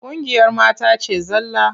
Ƙungiyar mata ce zalla.